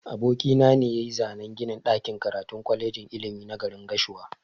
Aboki na ne yayi zanan ginin ɗakin karatun kwalejin ilimi na garin gashua.